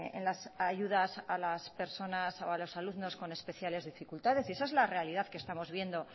en las ayudas a las personas o a los alumnos con especiales dificultades y esa es la realidad que estamos viendo